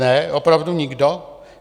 Ne, opravdu nikdo?